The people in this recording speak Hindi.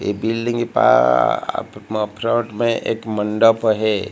ये बिल्डिंग के पा में एक मंडप है।